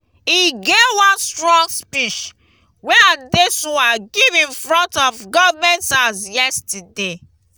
e get one strong speech wey adesuwa give in front of government house yesterday